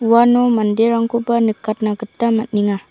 uano manderangkoba nikatna gita man·enga.